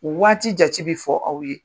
Waati jate bɛ fɔ aw ye.